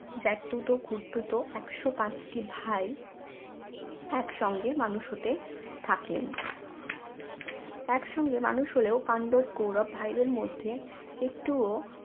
জেঠতুতো খুড়তুতো একশো পাঁচটি ভাই একসঙ্গে মানুষ হতে থাকলেন একসঙ্গে মানুষ হলেও পাণ্ডব কৌরব ভাইদের মধ্যে একটুও